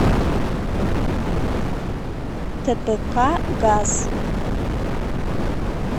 тпк газ